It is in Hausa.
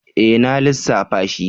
E! Na lissafta shi.